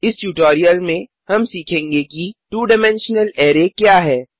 इस ट्यूटोरियल में हम सीखेंगे कि 2डाइमेंशनल अरै क्या है